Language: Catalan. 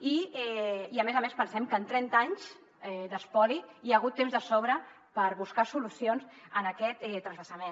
i a més a més pensem que en trenta anys d’espoli hi ha hagut temps de sobra per buscar solucions en aquest transvasament